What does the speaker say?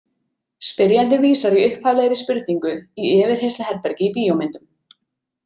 Spyrjandi vísar í upphaflegri spurningu í yfirheyrsluherbergi í bíómyndum.